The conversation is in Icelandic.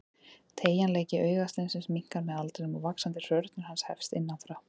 Teygjanleiki augasteinsins minnkar með aldrinum og vaxandi hrörnun hans hefst innan frá.